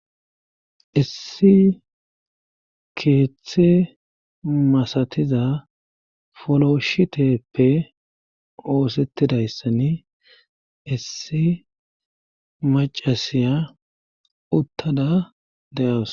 issi keeththe masatiza foloshiteppe oosettidayssan issi macasiya uttada de7awus.